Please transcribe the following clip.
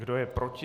Kdo je proti?